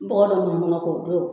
Bɔgɔ dɔ mɔ fana k'o don